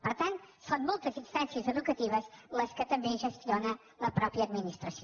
per tant són moltes instàncies educatives les que també gestiona la mateixa administració